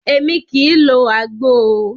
Émi kìí lo àgbo o.